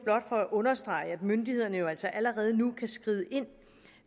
for at understrege at myndighederne jo altså allerede nu kan skride ind